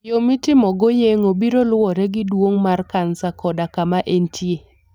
Yo mitimogo yeng'ono biro luwore gi duong' mar kansa koda kama entie.